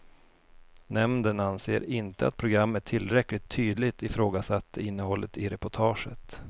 Nämnden anser inte att programmet tillräckligt tydligt ifrågasatte innehållet i reportaget.